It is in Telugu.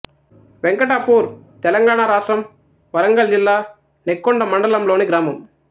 వెంకటాపూర్ తెలంగాణ రాష్ట్రం వరంగల్ జిల్లా నెక్కొండ మండలం లోని గ్రామం